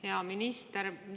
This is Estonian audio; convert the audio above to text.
Hea minister!